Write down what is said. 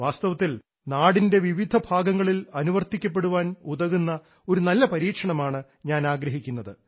വാസ്തവത്തിൽ നാടിൻറെ വിവിധ ഭാഗങ്ങളിൽ അനുവർത്തിക്കപ്പെടാൻ ഉതകുന്ന ഒരു നല്ല പരീക്ഷമാണ് ഞാൻ ആഗ്രഹിക്കുന്നത്